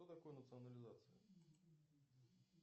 что такое национализация